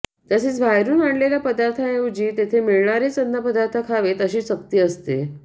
तसेच बाहेरून आणलेल्या पदार्थांऐवजी तेथे मिळणारेच अन्नपदार्थ खावेत अशी सक्ती असते